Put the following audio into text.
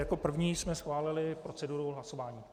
Jako první jsme schválili proceduru hlasování.